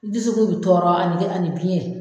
U dusukun bɛ tɔɔrɔ ani biyɛn.